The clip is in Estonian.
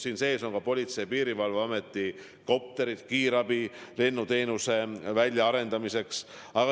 Siin sees on ka Politsei- ja Piirivalveameti kopterid kiirabi lennuteenuse väljaarendamiseks.